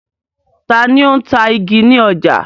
Ta ni ó ń ta igi ní ọjà?